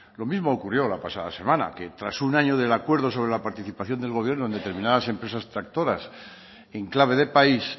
lo mismo ocurrió la pasada semana que tras un año del acuerdo sobre la participación del gobierno en determinadas empresas tractoras en clave de país